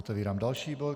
Otevírám další bod.